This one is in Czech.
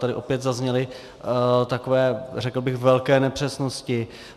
Tady opět zazněly takové, řekl bych, velké nepřesnosti.